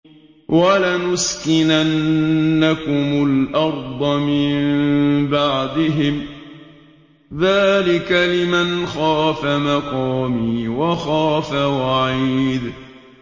وَلَنُسْكِنَنَّكُمُ الْأَرْضَ مِن بَعْدِهِمْ ۚ ذَٰلِكَ لِمَنْ خَافَ مَقَامِي وَخَافَ وَعِيدِ